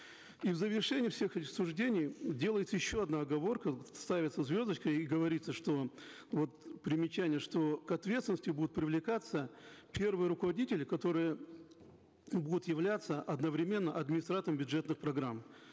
и в завершении всех рассуждений делается еще одна оговорка ставится звездочка и говорится что вот примечание что к ответственности будут привлекаться первые руководители которые будут являться одновременно администраторами бюджетных программ